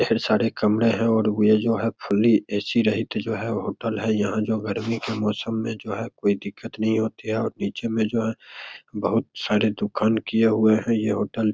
ढेर सारे कमरे हैं और वो जो है फुल्ली ए.सी. रहित जो है होटल है यहाँ जो गर्मी के मौसम में जो है कोई दिक्कत नहीं होती है और पीछे में जो है बहुत सारे दुकान किये हुए हैं। ये होटल --